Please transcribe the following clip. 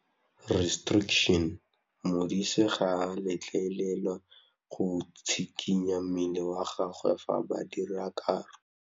Modise ga a letlelelwa go tshikinya mmele wa gagwe fa ba dira karô.